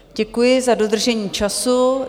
Děkuji za dodržení času.